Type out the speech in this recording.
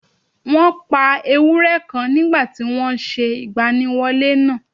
Wọ́n pa ewúrẹ́ kan nígbà tí wọ́n n se ìgbaniwọlé nàà